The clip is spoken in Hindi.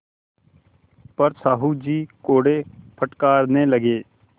पर साहु जी कोड़े फटकारने लगे